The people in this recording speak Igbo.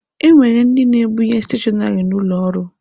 E nwere ndị na-ebunye steshọnarị n'ụlọ ọrụ.